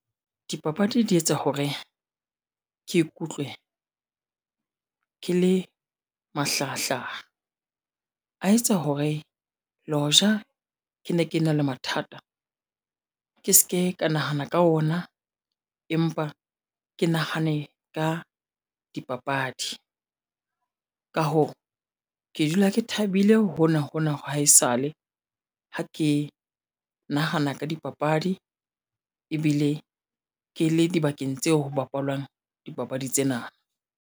Dipapadi di etsa hore ke ikutlwe ke le mahlahahlaha. A etsa hore le hoja ke ne ke na le mathata, ke seke ka nahana ka ona empa ke nahane ka dipapadi. Ka hoo, ke dula ke thabile hona-hona wa haesale ha ke nahana ka dipapadi ebile ke le dibakeng tseo ho bapalwang dipapadi tsena.